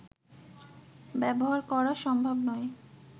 ব্যবহার করা সম্ভব নয়